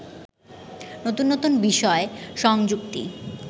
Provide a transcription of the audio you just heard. নতুন নতুন বিষয় সংযুক্তি